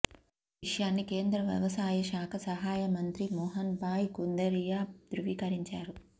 ఈ విషయాన్ని కేంద్ర వ్యవసాయ శాఖ సహాయ మంత్రి మోహన్ భాయ్ కుందారియా ధృవీకరించారు